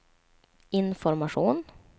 information